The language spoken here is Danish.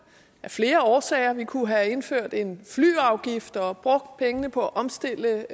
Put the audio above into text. af flere årsager vi kunne have indført en flyafgift og brugt pengene på at omstille